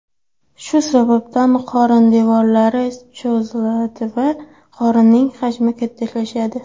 Shu sababdan qorin devorlari cho‘ziladi va qorinning hajmi kattalashadi.